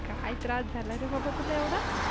काय त्रास झाला रे बाबा तुला एवढा?